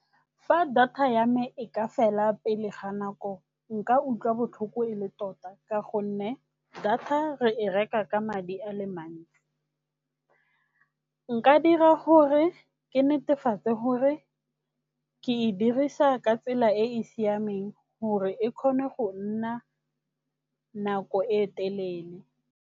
Fa data ya me e ka fela pele ga nako nka utlwa botlhoko e le tota ka gonne data re e reka ka madi a le mantsi. Nka dira gore ke netefatse gore ke e dirisa ka tsela e e siameng gore e kgone go nna nako e telele.